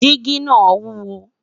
jigi nà wuwo